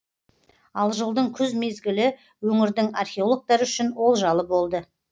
ал жылдың күз мезгілі өңірдің археологтары үшін олжалы болды